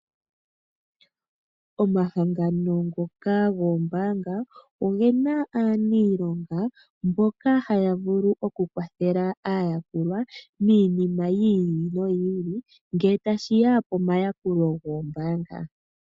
Omahangano ngoka goombaanga ogena aaniilonga mboka haya vulu okukwathela aayakulwa miinima yi ili noyi ili ngele tashi ya pomayakulo goombaanga.